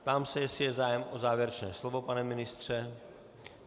Ptám se, jestli je zájem o závěrečné slovo - pane ministře?